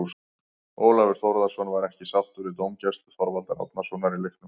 Ólafur Þórðarson var ekki sáttur við dómgæslu Þorvaldar Árnasonar í leiknum.